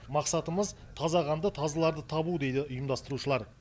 мақсатымыз таза қанды тазыларды табу дейді ұйымдастырушылар